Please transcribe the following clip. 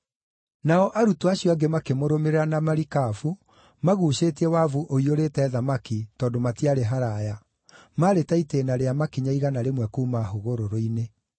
Nao arutwo acio angĩ makĩmũrũmĩrĩra na marikabu maguucĩtie wabu ũiyũrĩte thamaki tondũ matiarĩ haraaya, maarĩ ta itĩĩna rĩa makinya igana rĩmwe kuuma hũgũrũrũ-inĩ.